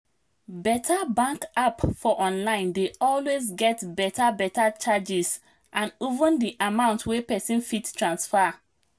beta bank app for online dey always get beta beta charges and even di amount wey pesin fit transfer